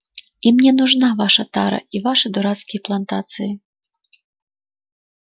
и мне нужна ваша тара и ваши дурацкие плантации